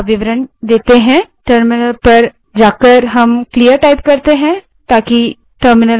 terminal पर जाएँ terminal को clear करने के लिए clear type करें